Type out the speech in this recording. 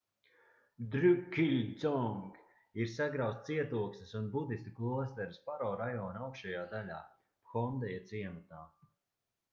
drukgyal dzong ir sagrauts cietoksnis un budistu klosteris paro rajona augšējā daļā phondeja ciematā